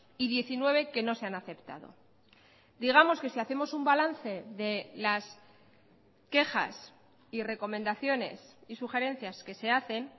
y diecinueve que no se han aceptado digamos que si hacemos un balance de las quejas y recomendaciones y sugerencias que se hacen